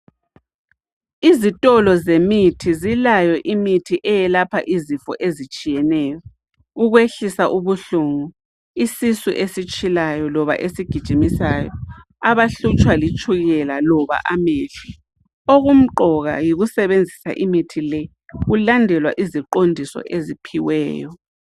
Izitolo zemithi zilayo imithi eyelapha izifo ezitshiyeneyo, ukwehlisa ubuhlungu, isisu esitshilayo loba esigijimisayo, abahlutsha litshukela loba amehlo. Okumqoka yikusebenzisa imithi le kulandelwa iziqondiso eziphiweyo.